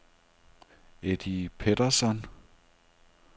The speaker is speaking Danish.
Eddie Pettersson